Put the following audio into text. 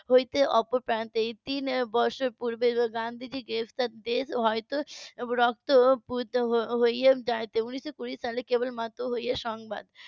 হতে অপর প্রান্তে এই তিন বছর পূর্বে গান্ধীজি কে তার দেশ হয়তো রক্ত . উনিশ কুড়ি সালে কেবলমাত্র হয়ে সংবাদ